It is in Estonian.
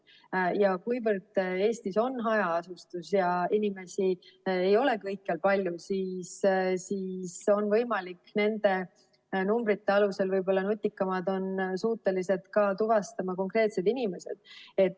Ja kuivõrd Eestis on hajaasustus ja inimesi ei ole kõikjal palju, siis nende numbrite alusel võib-olla nutikamad on suutelised tuvastama konkreetseid inimesi.